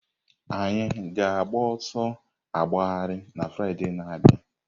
Anyị ga-agba ọsọ agbagharị na Fraịde na-abịa?